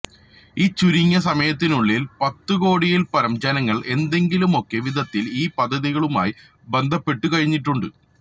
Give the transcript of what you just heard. ഈ ചുരുങ്ങിയ സമയത്തിനുള്ളില് പത്തുകോടിയില്പ്പരം ജനങ്ങള് ഏതെങ്കിലുമൊക്കെ വിധത്തില് ഈ പദ്ധതികളുമായി ബന്ധപ്പെട്ടുകഴിഞ്ഞിട്ടുണ്ട്